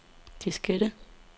diskette